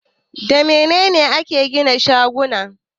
Da mene ne ake gina shaguna?